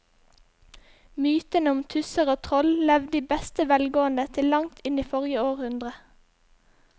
Mytene om tusser og troll levde i beste velgående til langt inn i forrige århundre.